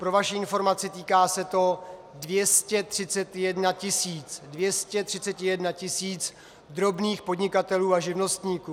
Pro vaši informaci, týká se to 231 tisíc - 231 tisíc - drobných podnikatelů a živnostníků.